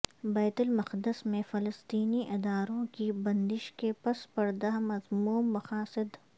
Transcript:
بیت المقدس میں فلسطینی اداروں کی بندش کے پس پردہ مذموم مقاصد